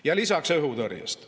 Ja lisaks õhutõrjest.